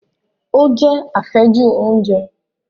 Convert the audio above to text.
Ó jẹ́ àfẹ́jù oúnjẹ